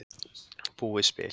Búið spil